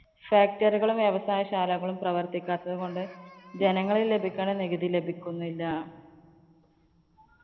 factory കളും വ്യവസായശാലകളും പ്രവര്‍ത്തിക്കാത്തതുകൊണ്ട് ജനങ്ങളില്‍ ലഭിക്കുന്ന നികുതി ലഭിക്കുന്നില്ല.